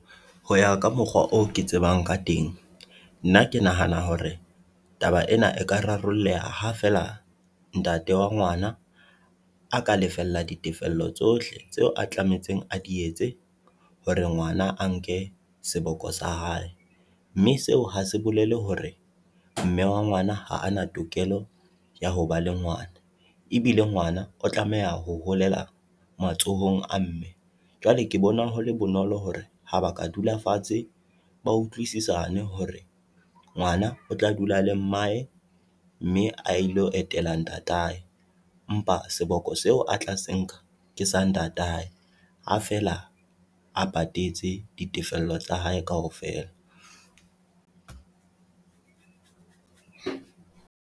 Ho ya ka mokgwa oo ke tsebang ka teng, nna ke nahana hore taba ena e ka rarolleha ha feela ntate wa ngwana a ka lefella ditefello tsohle tseo a tlametseng a di etse hore ngwana a nke seboko sa hae. Mme seo hase bolele hore mme wa ngwana ha ana tokelo ya hoba le ngwana, ebile ngwana o tlameha ho holela matsohong a mme, jwale ke bona hole bonolo hore ha ba ka dula fatshe, ba utlwisisane hore ngwana o tla dula le mmae mme a ilo etela ntatae. Empa seboko seo a tla se nka ke sa ntatae ha feela a patetse ditefello tsa hae kaofela.